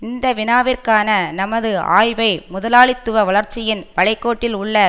இந்த வினாவிற்கான நமது ஆய்வை முதலாளித்துவ வளர்ச்சியின் வளைகோட்டில் உள்ள